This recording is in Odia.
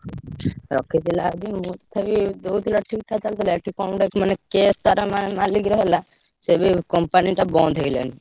ରଖିଥିଲା ଯଦି ବହୁତ୍ ଠିକ୍ ଠାକ ଚାଲୁଥିଲା। ଏଠି କଣ ଗୋଟେ ମାନେ case ତାର ମା ମାଲିକ୍ ର ହେଲା। ସେ ଏବେ company ଟା ବନ୍ଦ ହେଇଗଲାଣି।